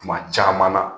Kuma caman na